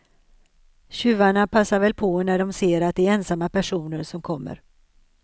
Tjuvarna passar väl på när de ser att det är ensamma personer som kommer.